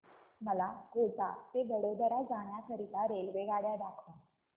मला कोटा ते वडोदरा जाण्या करीता रेल्वेगाड्या दाखवा